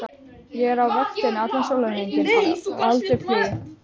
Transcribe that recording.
Ég er á vaktinni allan sólarhringinn, á aldrei frí.